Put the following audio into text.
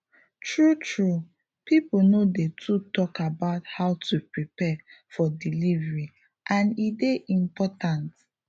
true true people no dey too talk about how to prepare for delivery and e dey important